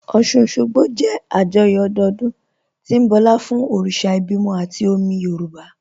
Ọ́ṣun-Òṣogbo jẹ́ àjọyọ̀ ọdọọdún tí ń bọlá fún òrìṣà ìbímọ àti omi Yorùb